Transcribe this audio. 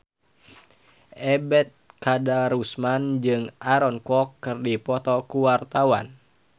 Ebet Kadarusman jeung Aaron Kwok keur dipoto ku wartawan